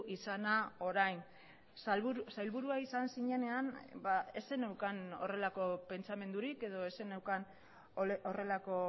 izana orain sailburua izan zinenean ez zeneukan horrelako pentsamendurik edo ez zeneukan horrelako